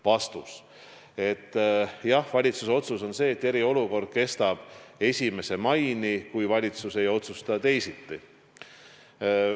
Vastus: valitsuse otsus on see, et eriolukord kestab 1. maini, kui valitsus ei otsusta teisiti.